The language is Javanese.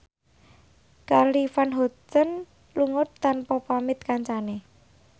Charly Van Houten lunga tanpa pamit kancane